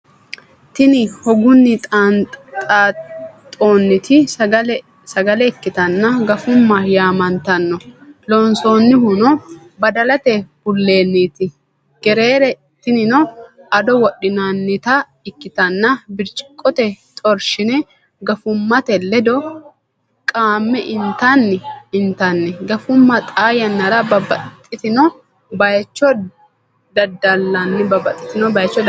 Tini hogunni xaanxonniti sagale ikkitanna gafumma yaamantanno loonsannihuno badalate bullenniti. Gerere tinino ado wodhinannita ikkitanna biriciqote xoorshine gafummate ledo qaamme intanni. gafumma xa yannara babaxino bayicho dada'linanni.